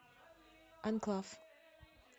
анклав